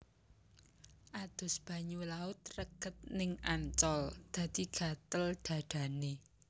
Adus banyu laut reget ning Ancol dadi gatel dhadhane